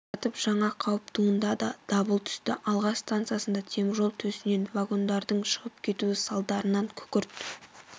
жатып жаңа қауіп туындады дабыл түсті алға станциясында теміржол төсемінен вагондардың шығып кетуі салдарынан күкірт